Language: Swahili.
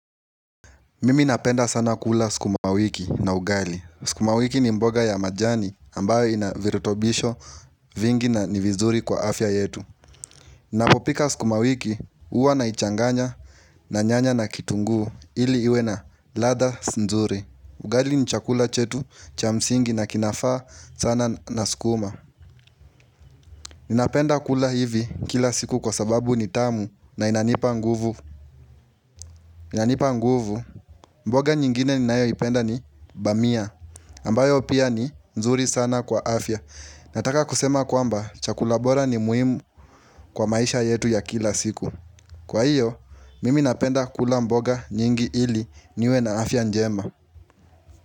Mimi napenda sana kula skuma wiki na ugali. Skumawiki ni mboga ya majani ambayo inavirutobisho vingi na ni vizuri kwa afya yetu. Ninapopika skumawiki huwa naichanganya na nyanya na kitunguu ili iwe na ladha sindzuri. Ugali ni chakula chetu cha msingi na kinafaa sana na skuma. Ninapenda kula hivi kila siku kwa sababu ni tamu na inanipa nguvu. Inanipa nguvu, mboga nyingine ni nayo ipenda ni bamia ambayo pia ni nzuri sana kwa afya Nataka kusema kwamba chakula bora ni muhimu kwa maisha yetu ya kila siku Kwa hiyo, mimi napenda kula mboga nyingi ili niwe na afya njema.